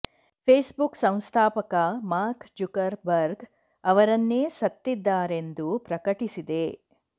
face book ಸಂಸ್ಥಾಪಕ Mark Zuckerberg ಅವರನ್ನೇ ಸತ್ತಿದ್ದಾರೆಂದು ಪ್ರಕಟಿಸಿದೆ